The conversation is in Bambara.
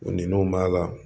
N'o b'a la